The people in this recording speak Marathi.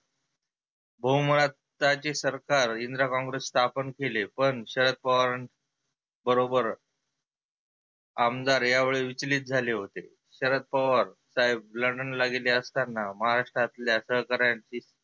हो मुळात राज्य सरकार इंदिरा कॉंग्रेस स्थापन केले पण शरद पवार बरोबर आमदार या वेळी विचलीत झाले होते. शरद पवार साहेब london ला गेले असताना महाराष्ट्रात सहकरांची